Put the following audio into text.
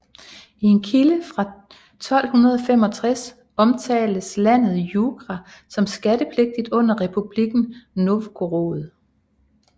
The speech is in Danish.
I en kilde fra 1265 omtales landet Jugra som skattepligtigt under Republikken Novgorod